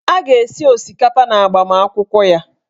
A ga-esi osikapa n'agbamakwụkwọ ya.